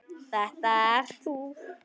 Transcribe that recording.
Þetta ert þú!